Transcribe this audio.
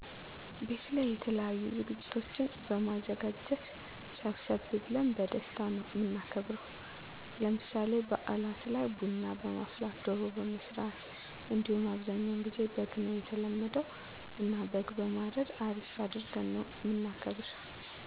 ቤት ላይ የተለያዪ ዝግጅቶችን በማዘጋጀት ሰብሰብ ብለን በደስታ ነው እምናከብረው። ለምሳሌ ባእላት ላይ ቡና በማፍላት፣ ደሮ በመስራት እንዲሁም አብዛኛውን ግዜ በግ ነው የተለመደ እና በግ በማረድ አሪፍ አድርገን ነው እምናከብር።